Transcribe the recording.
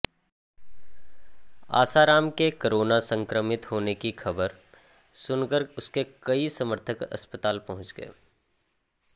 आसाराम के कोरोना संक्रमित होने की खबर सुनकर उसके कई समर्थक अस्पताल पहुंच गए